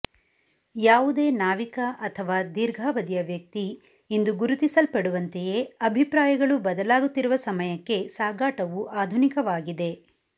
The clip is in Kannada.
ಯಾವುದೇ ನಾವಿಕ ಅಥವಾ ದೀರ್ಘಾವಧಿಯ ವ್ಯಕ್ತಿ ಇಂದು ಗುರುತಿಸಲ್ಪಡುವಂತೆಯೇ ಅಭಿಪ್ರಾಯಗಳು ಬದಲಾಗುತ್ತಿರುವ ಸಮಯಕ್ಕೆ ಸಾಗಾಟವು ಆಧುನಿಕವಾಗಿದೆ